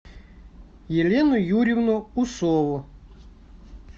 елену юрьевну усову